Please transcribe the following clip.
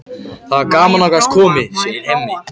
Það var gaman að þú gast komið, segir Hemmi.